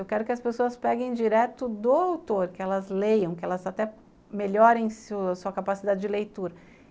Eu quero que as pessoas peguem direto do autor, que elas leiam, que elas até melhorem sua capacidade de leitura.